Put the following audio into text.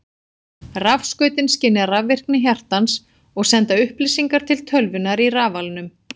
Rafskautin skynja rafvirkni hjartans og senda upplýsingar til tölvunnar í rafalnum.